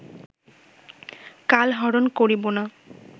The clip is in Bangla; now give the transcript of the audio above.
কালহরণ করিব না